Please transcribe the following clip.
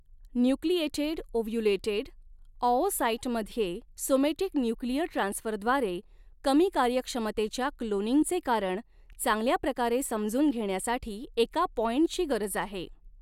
Nucleated ovulated ऑओसाइटमध्ये somatic nuclear ट्रान्सफरद्वारे कमी कार्यक्षमतेच्या क्लोनिंगचे कारण चांगल्या प्रकारे समजून घेण्यासाठी एका पॉईंटची गरज आहे.